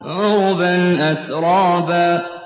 عُرُبًا أَتْرَابًا